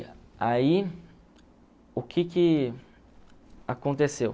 aí, o que que aconteceu?